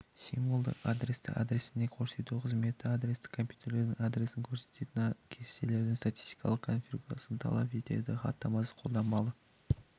символдық адресті адресінде көрсету қызметі адресті компьютердің адресін көрсететін кестелердің статистикалық конфигурациясын талап етеді хаттамасы қолданбалы